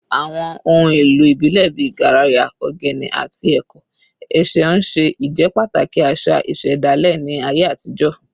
Àwọn ohun èlò ìbílẹ̀ bíi garaya, ogene, àti ẹ̀kọ́ ẹ̀ṣẹ̀ ń ṣe ìjẹ́pàtàkì àṣà ìṣẹ̀dálẹ̀ ní ayé àtijọ́